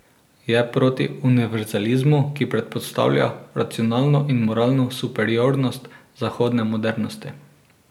Je proti univerzalizmu, ki predpostavlja racionalno in moralno superiornost zahodne modernosti.